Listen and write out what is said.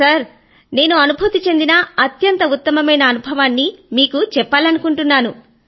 sir నేను అనుభూతి చెందిన అత్యంత ఉత్తమమైన అనుభవాన్ని మీకు చెప్పాలనుకుంటున్నాను